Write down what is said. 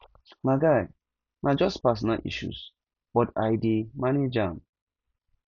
my guy na just personal issues but i dey manage am